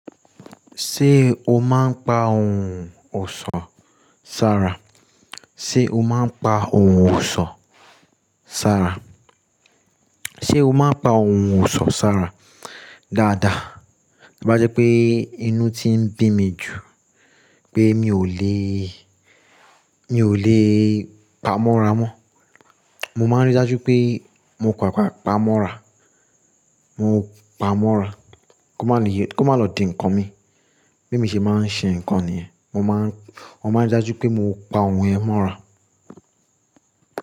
Ṣé o máa ń pa ohun ọ̀ṣọ́, Sarah? Ṣé o máa ń pa ohun ọ̀ṣọ́, Sarah? Ṣé o máa ń pa ohun ọ̀ṣọ́, Sarah dáadáa? Bá jẹ́ pé inú ti ń bí mi jù pé mi ò lẹ, mi ò lẹ pa mọ́ra mọ́. Mo máa ń rí dájú pé mo pápá pa mọ́ra, mo pa mọ́ra kó má lọ di nǹkan mi bí mọ ṣe máa ń ṣe nǹkan nìyẹn. Mo máa ń rí dájú pé mo pa ohun ẹ mọ́ra.